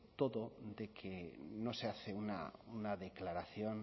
todo de que no se hace una declaración